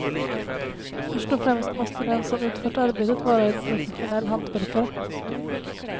Först och främst måste den som utfört arbetet vara en professionell hantverkare.